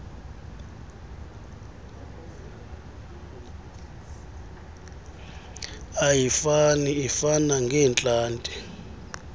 ayifani ifana ngeentlanti